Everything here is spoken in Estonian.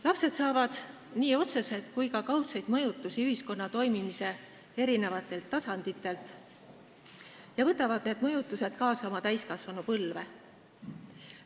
Lapsed saavad nii otseseid kui ka kaudseid mõjutusi ühiskonna toimimise eri tasanditelt ja võtavad need mõjutused kaasa oma täiskasvanupõlve.